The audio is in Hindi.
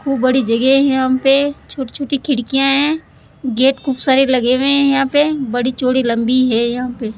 वो बड़ी जगह है यहां पे छोटी छोटी खिड़कियां है गेट खूब सारे लगे हुए है यहां पे बड़ी चौड़ी लंबी है यहां पे --